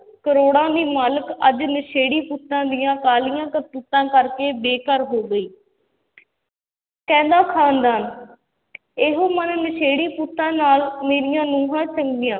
ਕਰੌੜਾਂ ਦੀ ਮਾਲਕ ਅੱਜ ਨਸ਼ੇੜੀ ਪੁੱਤਾਂ ਦੀਆਂ ਕਾਲੀਆਂ ਕਰਤੂਤਾਂ ਕਰਕੇ ਬੇਘਰ ਹੋ ਗਈ ਕਹਿੰਦਾ ਖਾਨਦਾਨ ਇਹੋ ਮਨ ਨਸ਼ੇੜੀ ਪੁੱਤਾਂ ਨਾਲ ਮੇਰੀਆਂ ਨਹੁੰਆਂ ਚੰਗੀਆਂ,